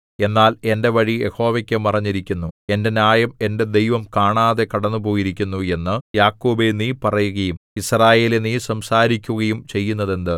എന്നാൽ എന്റെ വഴി യഹോവയ്ക്കു മറഞ്ഞിരിക്കുന്നു എന്റെ ന്യായം എന്റെ ദൈവം കാണാതെ കടന്നുപോയിരിക്കുന്നു എന്ന് യാക്കോബേ നീ പറയുകയും യിസ്രായേലേ നീ സംസാരിക്കുകയും ചെയ്യുന്നതെന്ത്